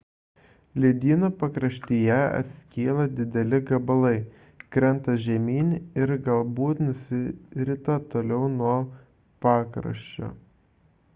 ledynų pakraštyje atskyla dideli gabalai krenta žemyn ir galbūt nusirita toliau nuo pakraščio